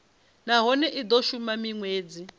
nahone i do shuma minwedzi